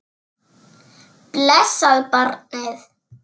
Blessað barnið.